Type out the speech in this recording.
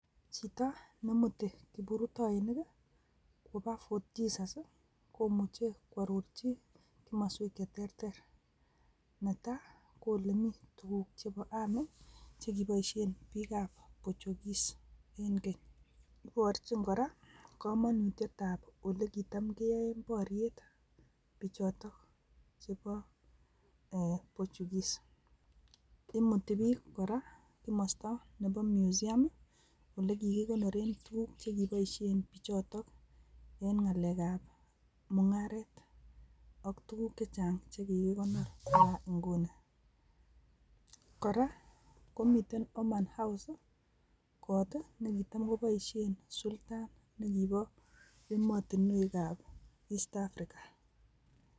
Chito nemuti kiprutoinik koba Fort Jesus komuche kwororchi komoswek cheterter netai ko ole mii tukuk chebo army chekiboishen bik ab portugues en keny, iborchin koraa komonutyet ab olekitan keyoen boryet bichoton chebo ee portugues, imuti bik koraa komosto nebo musium ii ole kikikonoren tukuk chekiboishen bichoton en ngalek ab mungaret ak tuku che chang chekikikonor bakai ingunikoraa komiten orman house kot tii nekitam koboishen sultan nekibo emotinwek ab East Africa.